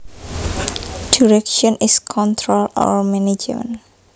Direction is control or management